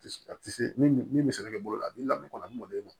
A tɛ se min bɛ se ka kɛ bolo la min lamɛnni kɔnɔ a man d'o ye